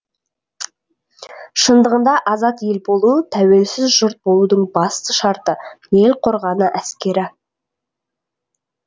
шындығында азат ел болу тәуелсіз жұрт болудың басты шарты ел қорғаны әскері